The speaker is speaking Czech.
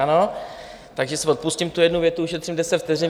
Ano, takže si odpustím tu jednu větu, ušetřím deset vteřin.